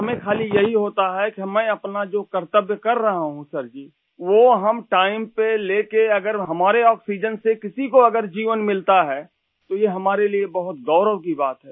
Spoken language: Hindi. हमें खाली ये ही होता है कि हमें अपना जो कर्तव्य कर रहा हूँ सर जी वो हम टाइम पे लेके अगर हमारे ऑक्सीजन से किसी को अगर जीवन मिलता है तो ये हमारे लिए बहुत गौरव की बात है